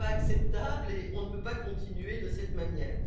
Ce n'est pas acceptable et on ne peut pas continuer de cette manière.